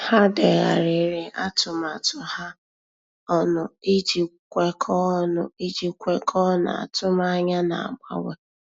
Há dèghàrị̀rị̀ atụmatụ ha ọnụ iji kwekọ́ọ́ ọnụ iji kwekọ́ọ́ n’átụ́mànyá nà-ágbànwé.